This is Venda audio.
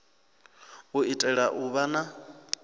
u itela u vha na